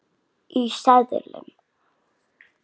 Í seðlum.